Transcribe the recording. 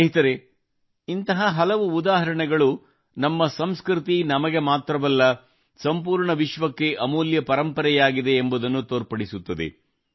ಸ್ನೇಹಿತರೆ ಇಂಥ ಹಲವಾರು ಉದಾಹರಣೆಗಳು ನಮ್ಮ ಸಂಸ್ಕೃತಿ ನಮಗೆ ಮಾತ್ರವಲ್ಲ ಸಂಪೂರ್ಣ ವಿಶ್ವಕ್ಕೆ ಅಮೂಲ್ಯ ಪರಂಪರೆಯಾಗಿದೆ ಎಂಬುದನ್ನು ತೋರ್ಪಡಿಸುತ್ತದೆ